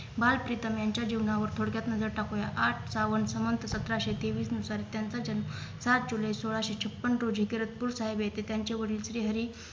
बाल प्रीतम यांच्या जीवनावर थोडक्यात नजर टाकूया आठ श्रावण सन सतराशे तेवीस नुसार त्यांचा जन्म सात जुलै सोळाशे छपन्न रोजी करसपूर साहेब येथे त्यांचे वडील श्री हरी